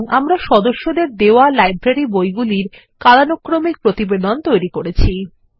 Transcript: সুতরাং আমরা সদস্যদের দেওয়া লাইব্রেরী বইগুলির কালানুক্রমিক প্রতিবেদন তৈরি করেছি